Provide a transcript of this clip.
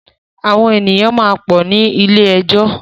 Àwọn èyàn máa pọ̀ ní ilé ẹjọ́.